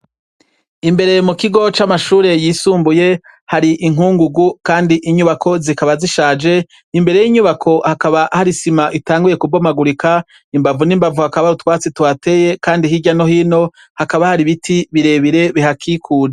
Imbere mukigo c'amashure yisumbuye hari inkungugu Kandi inyubako zikaba zishaje, imbere yinyubako hakaba hari isima itanguye kubomagurika, imbavu n'imbavu hakaba hari utwatsi tuhateye kandi hirya no hino hakaba hari ibiti birebire bihakikuje.